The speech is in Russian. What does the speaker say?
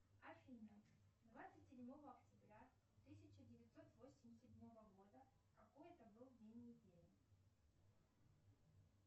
афина двадцать седьмого октября тысяча девятьсот восемьдесят седьмого года какой это был день недели